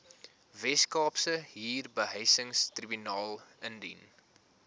weskaapse huurbehuisingstribunaal indien